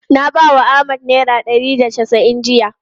Na bawa Ahmad naira ɗari da casa'in jiya.